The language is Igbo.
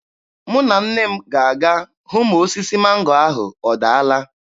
Mụ na nne m ga-aga hụ ma osisi mango ahụ ọdaala.